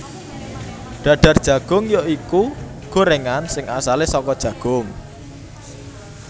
Dadar Jagung ya iku gorengan sing asale saka jagung